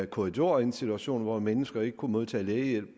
korridorer i en situation hvor mennesker ikke kunne modtage lægehjælp